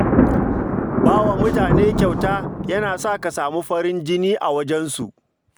Ba wa mutane kyauta yana sa ka samu farin jini a wajensu